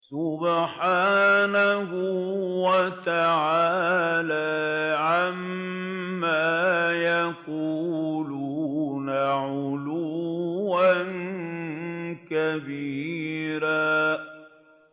سُبْحَانَهُ وَتَعَالَىٰ عَمَّا يَقُولُونَ عُلُوًّا كَبِيرًا